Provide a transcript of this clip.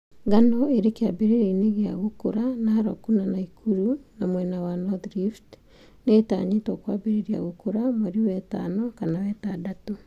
Ng'ano irĩ kĩambĩrĩria-inĩ gĩa gũkũra Narok na Nakuru, na mwena wa North rift nĩĩtanyĩtwo kwambĩrĩria gũkũra mweri wetano kana wetandatũ